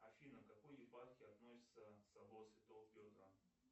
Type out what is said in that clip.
афина к какой епархии относится собор святого петра